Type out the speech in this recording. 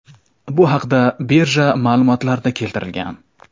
Bu haqda birja ma’lumotlarida keltirilgan .